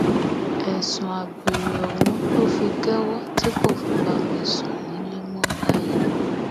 ẹsùn àgbèrè ọhún ló fi kẹwọ tí kò fi bá mi sùn nílẹ mọ báyìí